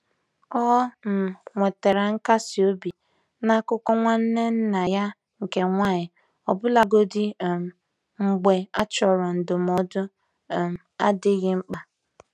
Ọ um nwetara nkasi obi na akụkọ nwanne nna ya nke nwanyị ya, ọbụlagodi um mgbe a chọrọ ndụmọdụ um adịghị mkpa.